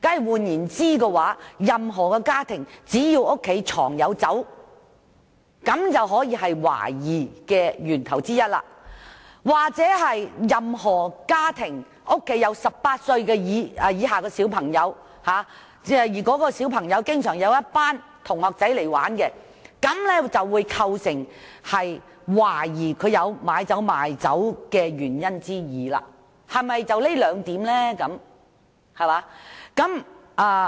換言之，只要任何家庭藏有酒類產品，便構成懷疑理由之一；而任何家庭有18歲以下青少年，其同學又經常到其家中玩耍，便構成懷疑有酒類買賣的理由之二，是否單憑這兩點便可以？